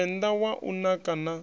tshivenḓa wa u naka na